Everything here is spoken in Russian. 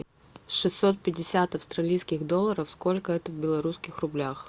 шестьсот пятьдесят австралийских долларов сколько это в белорусских рублях